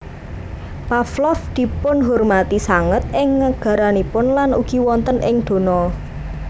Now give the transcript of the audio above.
Pavlov dipunhurmati sanget ing negaranipun lan ugi wonten ing dona